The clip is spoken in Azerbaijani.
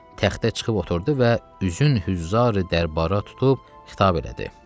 Təxtə çıxıb oturdu və üzün hüzr-i dərbarə tutub xitab elədi.